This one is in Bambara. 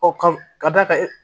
Ɔ ka d'a ka